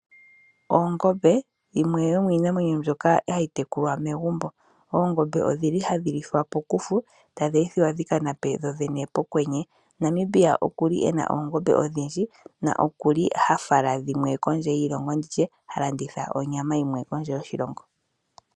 Oongombe, yimwe yomiinamwenyo mbyoka hayi tekulwa momagumbo. Oongombe ohadhi lithwa pokufu tadhi ethwa dhi ka nape dhodhene pokwenye. Namibia oku na oongombe odhindji noha fala dhimwe kondje yoshilongo ano ha landitha onyama kondje yoshilongo.